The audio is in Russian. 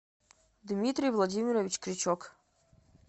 дмитрий владимирович крючок